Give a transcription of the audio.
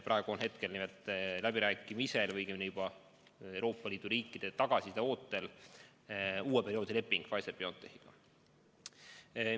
Praegu on nimelt läbirääkimisel või õigemini juba Euroopa Liidu riikide tagasiside ootel uue perioodi leping Pfizer/BioNTechiga.